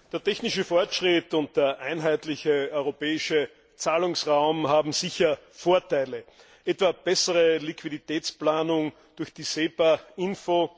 Frau Präsidentin! Der technische Fortschritt und der einheitliche europäische Zahlungsraum haben sicher Vorteile, etwa bessere Liquiditätsplanung durch die SEPA Info